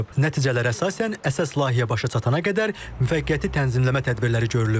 Nəticələrə əsasən əsas layihə başa çatana qədər müvəqqəti tənzimləmə tədbirləri görülüb.